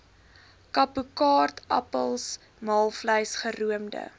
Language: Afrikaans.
kapokaartappels maalvleis geroomde